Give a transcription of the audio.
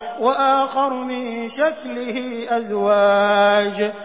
وَآخَرُ مِن شَكْلِهِ أَزْوَاجٌ